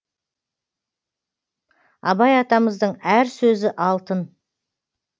абай атамыздың әр сөзі алтын